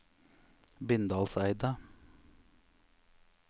Bindalseidet